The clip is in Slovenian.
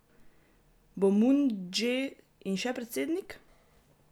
Bo Mun Dže In še predsednik?